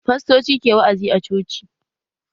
Fastoci ke wa'azi a coci